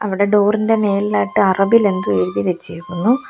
അവിടെ ഡോർ ഇന്റെ മേളിലായിട്ട് അറബിൽ എന്തോ എഴുതി വെച്ചിരിക്കുന്നു.